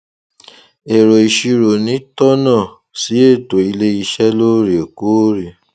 èrò ìṣirò ni tónà sí ètò iléiṣẹ lóòrèkóòrè